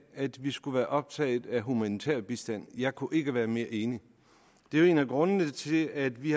at vi skulle være optaget af humanitær bistand jeg kunne ikke være mere enig det er jo en af grundene til at vi